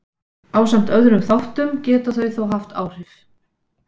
ásamt öðrum þáttum geta þau þó haft áhrif